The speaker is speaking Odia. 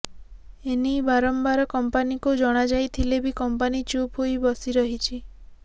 ଏନେଇ ବାରମ୍ବାର କମ୍ପାନୀକୁ ଜଣାଯାଇଥିଲେବି କମ୍ପାନୀ ଚୁପ ହୋଇ ବସିରହିଛି